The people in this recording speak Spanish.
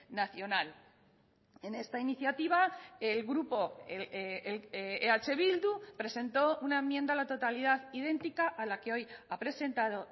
nacional en esta iniciativa el grupo eh bildu presentó una enmienda a la totalidad idéntica a la que hoy ha presentado